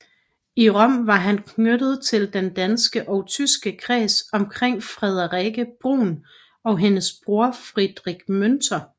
I Rom var han knyttet til den danske og tyske kreds omkring Friederike Brun og hendes bror Friedrich Münter